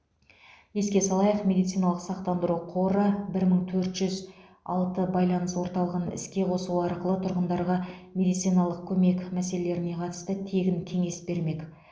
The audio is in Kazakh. еске салайық медициналық сақтандыру қоры бір мың төрт жүз алты байланыс орталығын іске қосу арқылы тұрғындарға медициналық көмек мәселелеріне қатысты тегін кеңес бермек